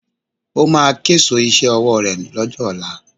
Ó máa késo iṣẹ́ ọwọ́ ré lọ́jọ́ ọ̀la